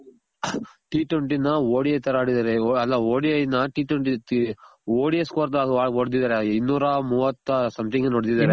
T twenty ನ O D I ತರ ಆಡಿದಾರೆ. ಅಲ್ಲ O D I ನ T twenty O D I score ಹೊಡ್ಡಿದಾರೆ .ಇನ್ನೂರ ಮುವತ್ತ something ಏನೋ